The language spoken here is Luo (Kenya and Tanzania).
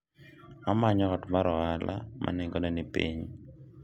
amanyo ot mar ohala ma nengone ni piny